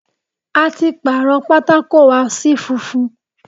A ti pàrọ̀ pátákó wa sí funfun.